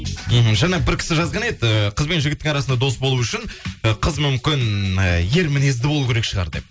мхм жаңа бір кісі жазған еді ыыы қыз бен жігіттің арасында дос болу үшін ы қыз мүмкін ы ер мінезді болу керек шығар деп